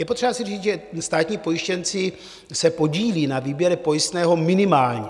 Je potřeba si říct, že státní pojištěnci se podílí na výběrech pojistného minimálně.